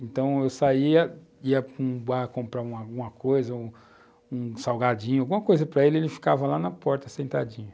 Então, eu saía, ia para um bar comprar alguma coisa, um salgadinho, alguma coisa para ele, ele ficava lá na porta, sentadinho.